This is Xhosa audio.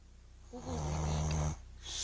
ukuzibika